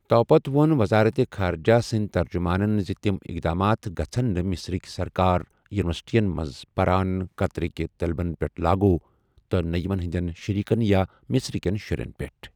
تۄپتہٕ وون وزارتِ خارجہ سٕنٛد ترجمانَن زِ تِم اِقدامات گژھَن نہٕ مصرٕک سرکٲری یوٗنیورسٹیَن منٛز پران قطرٕکۍ طلبن پیٹھ لاگوٗ، تہٕ نَہ یِمن ہِنٛدٮ۪ن شریٖکن یا مصرٕکٮ۪ن شُرٮ۪ن پیٹھ۔